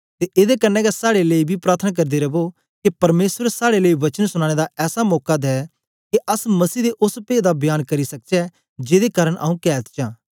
ते एदे कन्ने गै साड़े लेई बी प्रार्थना करदे रवो के परमेसर साड़े लेई वचन सुनाने दा ऐसा मौका दे के अस मसीह दे ओस पेद दा बयान करी सकचै जेदे कारन आऊँ कैद च आं